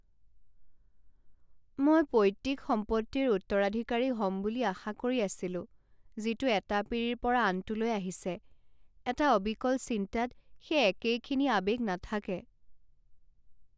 মই পৈত্তিক সম্পত্তিৰ উত্তৰাধিকাৰী হ'ম বুলি আশা কৰি আছিলো যিটো এটা পীৰিৰ পৰা আনটোলৈ আহিছে। এটা অবিকল চিন্তাত সেই একেইখিনি আৱেগ নাথাকে।